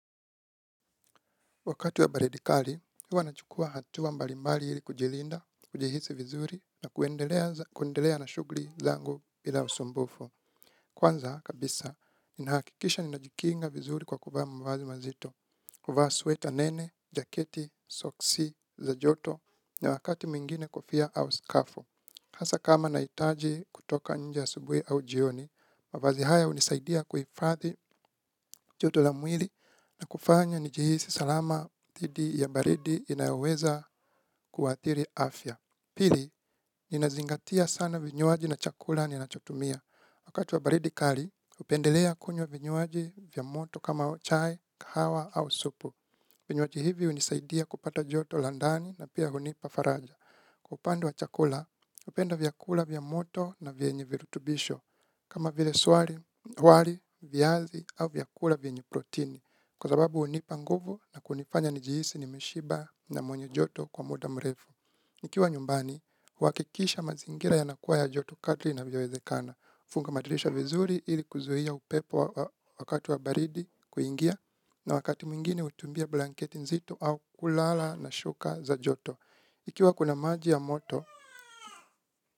Wakati wa baridi kali, huwa nachukua hatua mbalimbali ili kujilinda, kujihisi vizuri na kuendelea na shughuli zangu bila usumbufu. Kwanza, kabisa, ninahakikisha ninajikinga vizuri kwa kuvaa mavazi mazito, kuvaa sweta nene, jaketi, soksi, za joto, na wakati mwingine kofia au skafu. Hasa kama nahitaji kutoka njie asubuhi au jioni, mavazi haya hunisaidia kuifadhi joto la mwili na kufanya nijihisi salama dhidi ya baridi inayoweza kuathiri afya. Pili, ninazingatia sana vinywaji na chakula ninachotumia. Wakati wa baridi kali, hupendelea kunywa vinywaji vya moto kama chai, kahawa au supu. Vinywaji hivi hunisaidia kupata joto la ndani na pia hunipa faraja. Kwa upande wa chakula, hupenda vyakula vya moto na vyenye virutubisho, kama vile wali, viazi, au vyakula vyenye protini, kwa sababu hunipa nguvu na kunifanya nijihisi nimeshiba na mwenye joto kwa muda mrefu. Nikiwa nyumbani, uhakikisha mazingira yanakuwa ya joto kadri inavyowezekana. Funga madirisha vizuri ili kuzuia upepo wakati wa baridi kuingia na wakati mwingine hutumia blanketi nzito au kulala na shuka za joto. Ikiwa kuna maji ya moto,